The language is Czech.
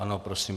Ano, prosím.